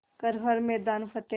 कर हर मैदान फ़तेह